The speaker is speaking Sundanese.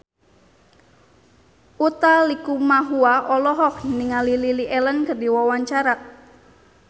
Utha Likumahua olohok ningali Lily Allen keur diwawancara